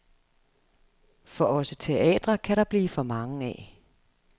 For også teatre kan der blive for mange af.